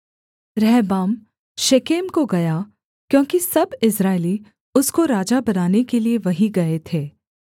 रहबाम Shechem को गया क्योंकि सब इस्राएली उसको राजा बनाने के लिये वहीं गए थे